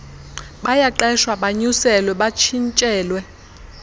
bayaqeshwa banyuselwe batshintshelwe